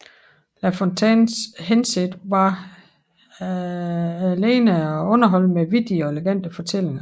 La Fontaines hensigt var alene at underholde med vittige og elegante fortællinger